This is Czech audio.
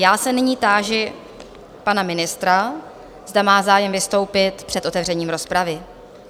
Já se nyní táži pana ministra, zda má zájem vystoupit před otevřením rozpravy?